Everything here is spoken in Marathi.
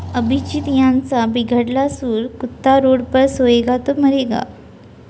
अभिजीत यांचा बिघडला सूर, कुत्ता रोड पर सोएगा तो मरेंगा